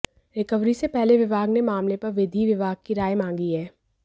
recovery से पहले विभाग ने मामले पर विधि विभाग की राय मांगी है